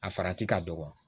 A farati ka dɔgɔ